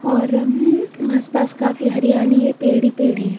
और उम्म आसपास काफी हरियाली है पेड़ ही पेड़ हैं।